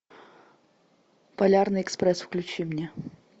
полярный экспресс включи мне